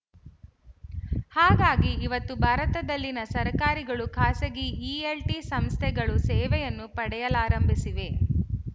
ಹಾಗಾಗಿ ಇವತ್ತು ಭಾರತದಲ್ಲಿನ ಸರಕಾರಗಳು ಖಾಸಗಿ ಈ ಎಲ್ ಟಿ ಸಂಸ್ಥೆಗಳ ಸೇವೆಯನ್ನು ಪಡೆಯಲಾರಂಭಿಸಿವೆ